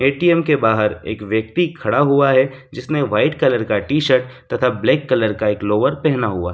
ATM के बाहर एक व्यक्ति खड़ा हुआ है जिसने वाइट कलर का टी-शर्ट तथा ब्लैक कलर का एक लोवर पहना हुआ।